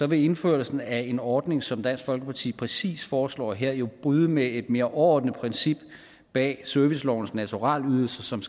vil indførelsen af en ordning som den dansk folkeparti præcis foreslår her jo bryde med et mere overordnet princip bag servicelovens naturalydelse som